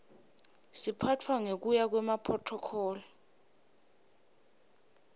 siphatfwa ngekuya kwemaphrothokholi